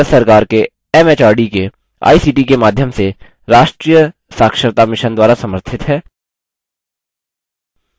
यह भारत सरकार के एमएचआरडी के आईसीटी के माध्यम से राष्ट्रीय साक्षरता mission द्वारा समर्थित है